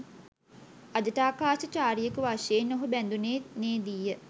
අජටාකාශ චාරියෙකු වශයෙන් ඔහු බැඳුනේ නේ දීය